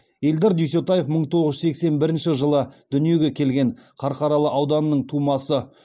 эльдар дүйсетаев мың тоғыз жүз сексен бірінші жылы дүниеге келген қарқаралы ауданының тумасы